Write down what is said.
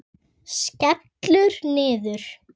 Skellur niður.